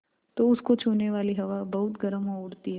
तो उसको छूने वाली हवा बहुत गर्म हो उठती है